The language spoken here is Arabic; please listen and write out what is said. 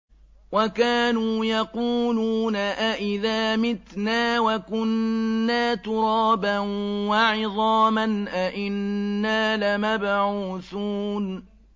وَكَانُوا يَقُولُونَ أَئِذَا مِتْنَا وَكُنَّا تُرَابًا وَعِظَامًا أَإِنَّا لَمَبْعُوثُونَ